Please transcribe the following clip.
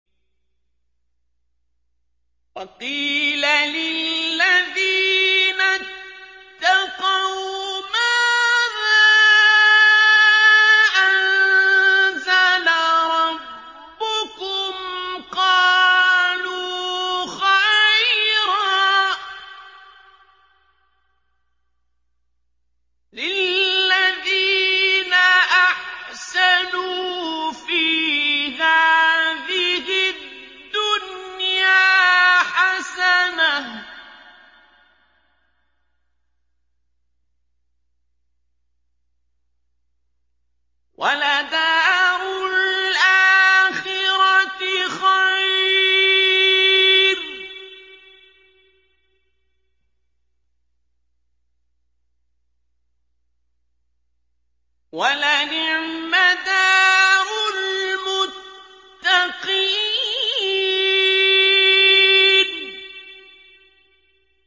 ۞ وَقِيلَ لِلَّذِينَ اتَّقَوْا مَاذَا أَنزَلَ رَبُّكُمْ ۚ قَالُوا خَيْرًا ۗ لِّلَّذِينَ أَحْسَنُوا فِي هَٰذِهِ الدُّنْيَا حَسَنَةٌ ۚ وَلَدَارُ الْآخِرَةِ خَيْرٌ ۚ وَلَنِعْمَ دَارُ الْمُتَّقِينَ